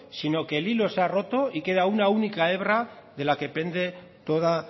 sino que el hilo se ha roto y queda una única hebra de la que pende toda